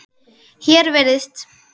Hér virðist